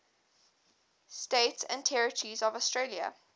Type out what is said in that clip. states and territories of australia